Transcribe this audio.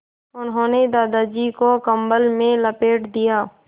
उन्होंने दादाजी को कम्बल में लपेट दिया